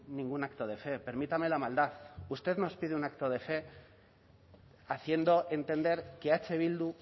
ningún acto de fe permítame la maldad usted nos pide un acto de fe haciendo entender que eh bildu